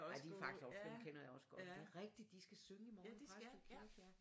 Ej de er faktisk også gode dem kender jeg også godt det er rigtigt de skal synge i morgen i Præstø kirke